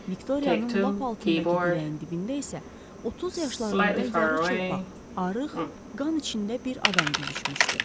Viktoriyanın lap altındakı dirəyin dibində isə 30 yaşlarında yarı çılpaq, arıq, qan içində bir adam büzüşmüşdü.